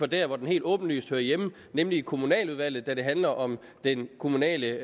der hvor den helt åbenlyst hører hjemme nemlig i kommunaludvalget da det handler om den kommunale